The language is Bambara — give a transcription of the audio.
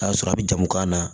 A y'a sɔrɔ a bɛ jamu k'a la